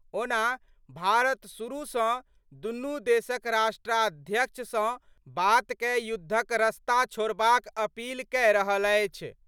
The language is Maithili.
ओना भारत शुरू सं दुनू देशक राष्ट्राध्यक्ष सं बात कए युद्धक रस्ता छोड़बाक अपील कए रहल अछि।